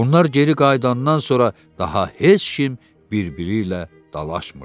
Onlar geri qayıdandan sonra daha heç kim bir-biri ilə dalaşmırdı.